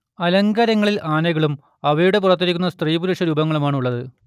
അലങ്കാരങ്ങളിൽ ആനകളും അവയുടെ പുറത്തിരിക്കുന്ന സ്ത്രീപുരുഷ രൂപങ്ങളുമാണുള്ളത്